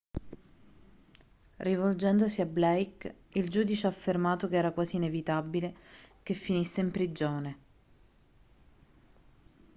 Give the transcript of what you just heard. rivolgendosi a blake il giudice ha affermato che era quasi inevitabile che finisse in prigione